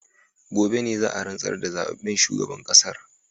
Gobe ne za a rantsar da zababben shugaban kasar